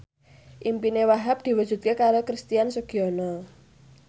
impine Wahhab diwujudke karo Christian Sugiono